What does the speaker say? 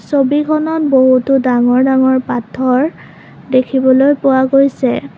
ছবিখনত বহুতো ডাঙৰ ডাঙৰ পাথৰ দেখিবলৈ পোৱা গৈছে।